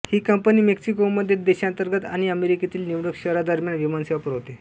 ही company मेक्सिकोमध्ये देशांतर्गत आणि अमेरिकेतील निवडक शहरांदरम्यान विमानसेवा पुरवते